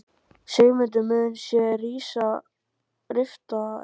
Sigmundur: Sum sé rifta honum?